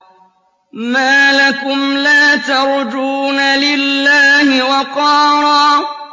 مَّا لَكُمْ لَا تَرْجُونَ لِلَّهِ وَقَارًا